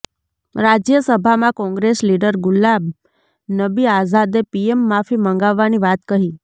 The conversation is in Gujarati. રાજ્યસભામાં કોંગ્રેસ લીડર ગુલામ નબી આઝાદે પીએમ માફી મંગાવવાની વાત કહી